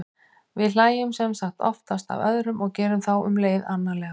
við hlæjum sem sagt oftast að öðrum og gerum þá um leið annarlega